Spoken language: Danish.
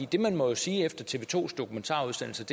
det man må sige efter tv to dokumentarudsendelse